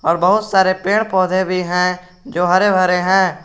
और बहुत सारे पेड़ पौधे भी हैं जो हरे भरे हैं।